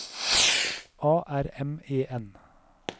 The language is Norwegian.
A R M E N